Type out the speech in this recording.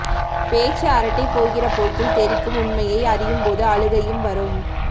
பேச்சு அரட்டை போகிற போக்கில் தெறிக்கும் உண்மையை அறியும் போது அழுகையும் வரும்